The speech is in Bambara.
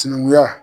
Sinankunya